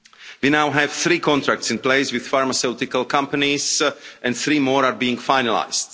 We now have three contracts in place with pharmaceutical companies and three more are being finalised.